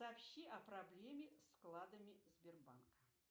сообщи о проблеме с вкладами сбербанка